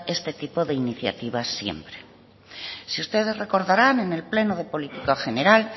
este tipo de iniciativas bien si ustedes recordarán en el pleno de política general